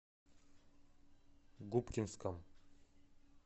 губкинском